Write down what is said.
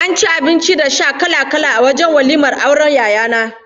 An ci abinci da abin sha kala-kala wajen walimar auren Yaya na